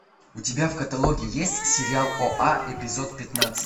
у тебя в каталоге есть сериал оа эпизод пятнадцать